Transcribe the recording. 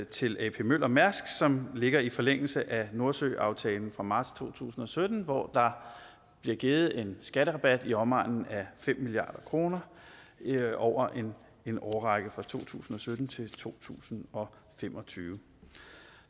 til ap møller mærsk som ligger i forlængelse af nordsøaftalen fra marts to tusind og sytten hvor der blev givet en skatterabat i omegnen af fem milliard kroner over en årrække fra to tusind og sytten til to tusind og fem og tyve